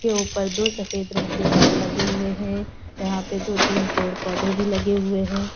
के उपर दो सफ़ेद रंग के तार लगे हुए हैं। यहाँ पे दो तीन पेड़ पौधे भी लगे हुए हैं।